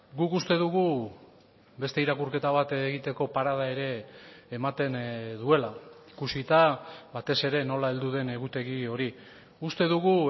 guk uste dugu beste irakurketa bat egiteko parada ere ematen duela ikusita batez ere nola heldu den egutegi hori uste dugu